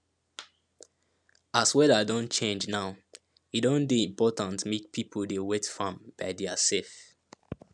as weather don change now e don dey important make people dey wet farm by their self